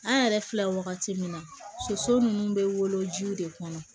An yɛrɛ filɛ wagati min na soso nunnu bɛ wolo ji de kɔnɔ